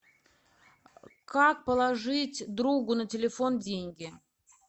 как положить другу на телефон деньги